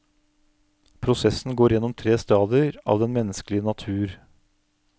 Prosessen går gjennom tre stadier av den menneskelige natur.